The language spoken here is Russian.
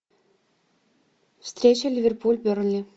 встреча ливерпуль бернли